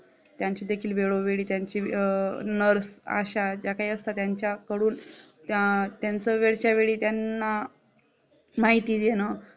यांचीदेखील वेळोवेळी त्यांच्या Nurse अश्या ज्या काही असता त्यांच्याकडून त्या त्यांचं वेळच्या वेळी त्यांना माहिती घेणं